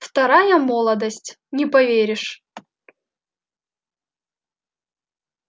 вторая молодость не поверишь